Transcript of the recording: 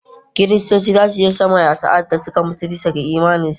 Kiristoci za su je sama sa’ad da suka mutu bisa ga imaninsu